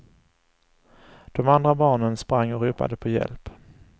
De andra barnen sprang och ropade på hjälp.